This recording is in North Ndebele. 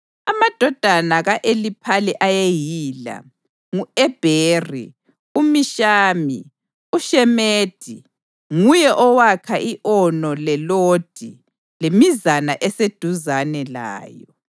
Amadodana ka-Eliphali ayeyila: u-Ebheri, uMishami, uShemedi (nguye owakha i-Ono leLodi lemizana eseduzane layo),